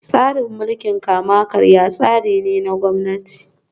Tsarin mulkin kama karya tsari ne na Gwamnati